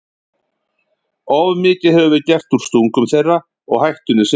Of mikið hefur verið gert úr stungum þeirra og hættunni sem fylgir þeim.